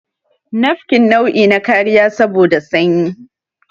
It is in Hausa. nafkin nau'i na kariya saboda sanyi